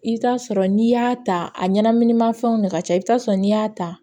I bɛ taa sɔrɔ n'i y'a ta a ɲɛnaminimafɛnw de ka ca i bɛ taa sɔrɔ n'i y'a ta